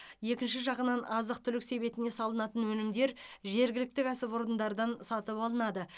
екінші жағынан азық түлік себетіне салынатын өнімдер жергілікті кәсіпорындардан сатып алынады